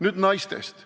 Nüüd naistest.